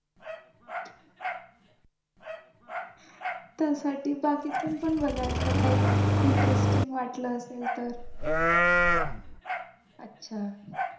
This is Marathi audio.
त्यासाठी बाकी पण बघायचं काही interesting वाटल असेल तर